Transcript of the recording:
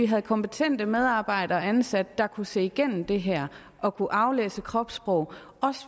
havde kompetente medarbejdere ansat der kunne se igennem det her og kunne aflæse kropssprog